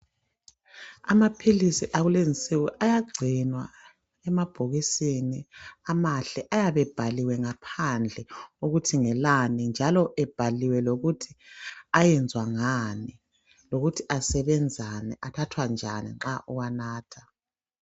Amaphilisi akulezinsuku ayagcinwa emabhokisini amahle, ayabe ebhaliwe ngaphandle ukuthi ngelani njalo ebhaliwe lokuthi ayenzwa ngani lokuthi asebenzani, anathwa njani nxa uwanatha.